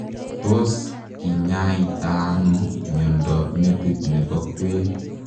Tos kinyaitaa anoo miondoop metit nepo kwen?